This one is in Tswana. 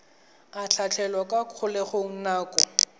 a tlhatlhelwa kwa kgolegelong nako